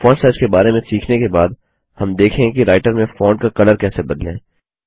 font size के बारे में सीखने के बाद हम देखेंगे कि राइटर में फॉन्ट का कलर कैसे बदलें